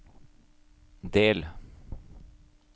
del